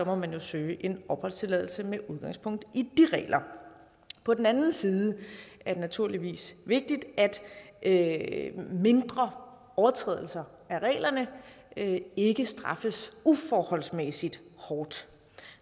må man jo søge opholdstilladelse med udgangspunkt i de regler på den anden side er det naturligvis vigtigt at mindre overtrædelser af reglerne ikke straffes uforholdsmæssigt hårdt